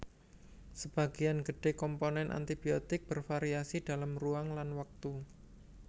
Sebagian gedhe komponen abiotik bervariasi dalam ruang lan waktu